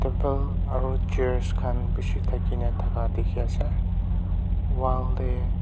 table aru chairs khan bishi thakine thaka dikhi ase wall te.